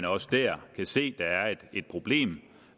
også der kan se der er et problem